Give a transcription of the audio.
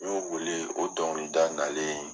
N y'o wele o dɔnkilida nalen